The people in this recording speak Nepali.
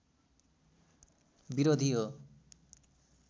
विरोधी हो।